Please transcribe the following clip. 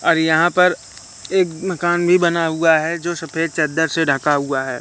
और यहां पर एक मकान भी बना हुआ है जो सफेद चद्दर से ढका हुआ है।